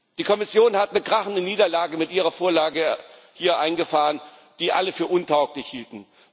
Die Kommission hat eine krachende Niederlage mit ihrer Vorlage eingefahren, die alle für untauglich hielten.